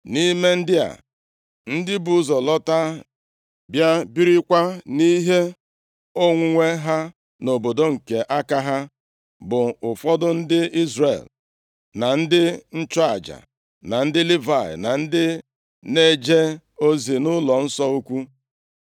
Nʼime ndị a, ndị bụ ụzọ lọta bịa birikwa nʼihe onwunwe ha nʼobodo nke aka ha bụ ụfọdụ ndị Izrel, na ndị nchụaja, na ndị Livayị, na ndị na-eje ozi nʼụlọnsọ ukwu.